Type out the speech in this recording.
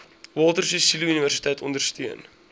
walter sisuluuniversiteit ondersteun